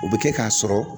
O bɛ kɛ k'a sɔrɔ